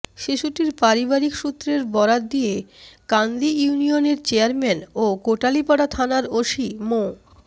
শিশুটির পারিবারিক সূত্রের বরাত দিয়ে কান্দি ইউনিয়নের চেয়ারম্যান ও কোটালীপাড়া থানার ওসি মো